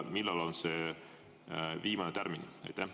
Millal on see viimane tärmin?